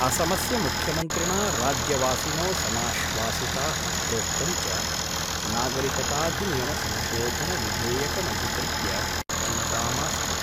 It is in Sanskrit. असमस्य मुख्यमन्त्रिणा राज्यवासिनो समाश्वासिताः प्रोक्तं च नागरिकताधिनियमसंशोधनविधेयकमधिकृत्य चिन्ता मास्तु।